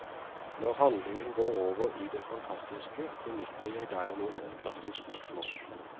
Når handlingen går over i det fantastiske benytter jeg derimot et klassisk riksmål.